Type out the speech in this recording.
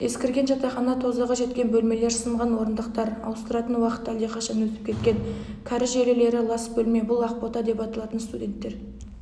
ескірген жатақхана тозығы жеткен бөлмелер сынған орындықтар ауыстыратын уақыты әлдеқашан өтіп кеткен кәріз желілері лас бөлме бұл ақбота деп аталатын студенттер